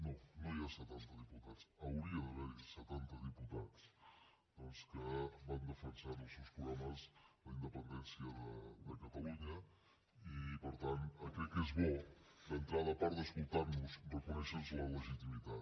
no no hi ha setanta diputats hauria d’haver hi setanta diputats doncs que van defensar en els seus programes la independència de catalunya i per tant crec que és bo d’entrada a part d’escoltar nos reconèixer nos la legitimitat